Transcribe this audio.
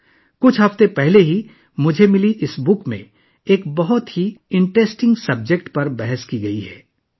اس کتاب میں ایک بہت ہی دلچسپ موضوع پر بات کی گئی ہے جو مجھے چند ہفتے قبل موصول ہوئی تھی